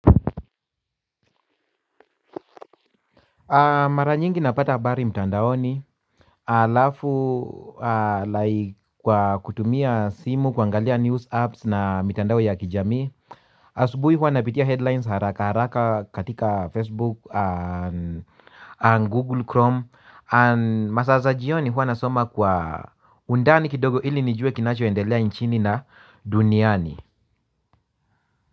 Mara nyingi napata habari mtandaoni halafu like kwa kutumia simu kuangalia news apps na mitandao ya kijamii. Asubuhi huwa napitia headlines haraka haraka katika Facebook Google Chrome and masaa za jioni huwa nasoma kwa undani kidogo ili nijue kinachoendelea nchini na duniani.